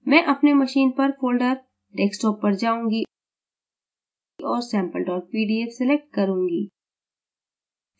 मैं अपने machine पर folder desktop पर जाऊँगी और sample pdf select करूँगी